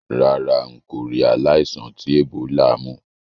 Rárá, n kò ri aláìsàn ti Ebola mú